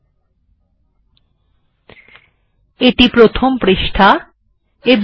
এখন আরো কিছু বিষয় সম্পর্কে জানা যাক